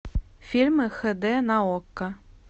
фильмы хд на окко